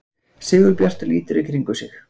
Sigurbjartur lítur í kringum sig.